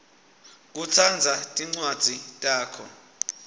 kutsandza tincwadzi takho